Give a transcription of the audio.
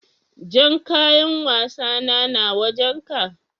Jan ƙayan wassana na wajen ka?